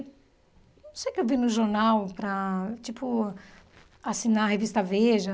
Não sei o que eu vi no jornal para tipo assinar a revista Veja.